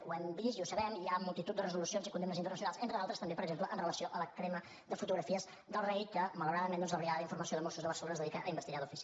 ho hem vist i ho sabem hi ha multitud de resolucions i condemnes internacionals entre d’altres també per exemple amb relació a la crema de fotografies del rei que malauradament doncs la brigada d’informació de mossos de barcelona es dedica a investigar d’ofici